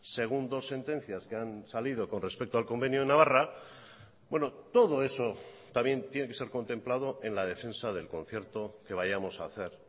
según dos sentencias que han salido con respecto al convenio de navarra todo eso también tiene que ser contemplado en la defensa del concierto que vayamos a hacer